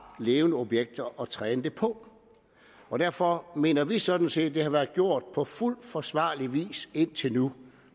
levende objekter at træne dem på og derfor mener vi sådan set at det har været gjort på fuld forsvarlig vis indtil nu